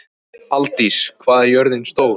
Aldís, hvað er jörðin stór?